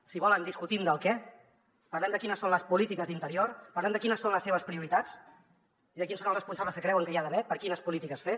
si volen discutim del què parlem de quines són les polítiques d’interior parlem de quines són les seves prioritats i de quins són els responsables que creuen que hi ha d’haver per quines polítiques fer